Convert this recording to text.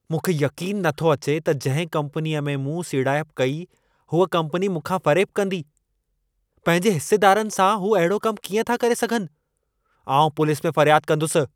मूंखे यक़ीनु नथो अचे त जंहिं कंपनीअ में मूं सीड़ाइप कई, हूअ कंपनी मूंखां फ़रेबु कंदी। पंहिंजे हिस्सेदारनि सां हू अहिड़ो कमु कीअं था करे सघनि? आउं पुलिस में फ़र्याद कंदुसि।